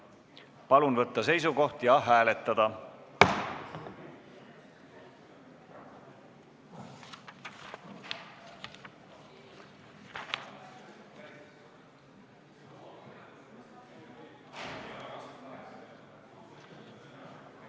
Palun võtta seisukoht ja hääletada!